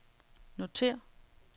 notér